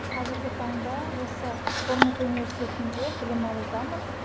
қазіргі таңда осы бормунт университетінде білім алудамын